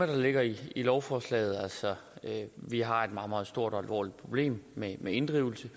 der ligger i lovforslaget altså at vi har et meget meget stort og alvorligt problem med inddrivelse